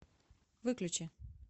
выключи